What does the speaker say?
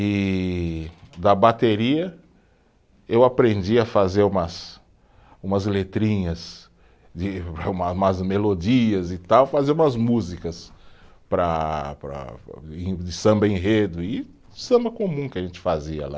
E da bateria eu aprendi a fazer umas, umas letrinhas de, umas melodias e tal, fazer umas músicas para, para, para, e de samba-enredo e samba comum que a gente fazia lá.